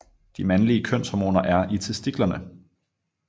De mandlige kønshormoner er i testiklerne